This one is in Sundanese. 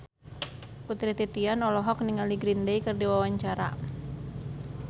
Putri Titian olohok ningali Green Day keur diwawancara